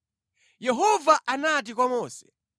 Yehova anati kwa Mose,